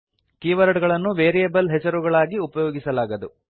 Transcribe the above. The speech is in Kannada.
ಕೀವರ್ಡ್ ಗಳನ್ನು ವೇರಿಯೇಬಲ್ ಹೆಸರುಗಳಾಗಿ ಉಪಯೋಗಿಸಲಾಗದು